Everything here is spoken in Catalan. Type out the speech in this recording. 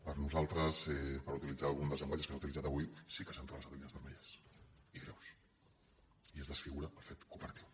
per nosaltres per utilitzar un dels llenguatges que s’han utilitzat avui sí que s’han travessat línies vermelles i greus i es desfigura el fet cooperatiu